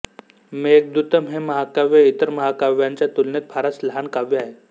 मेघदूतम् हे महाकाव्य इतर महाकाव्यांच्या तुलनेत फारच लहान काव्य आहे